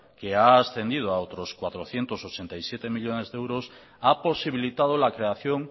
que ha ascendido a otros cuatrocientos ochenta y siete millónes de euros ha posibilitado la creación